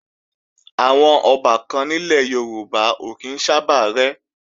Àwọn ọbàkan nílẹ̀ Yorùbá ò kí ń sábà rẹ́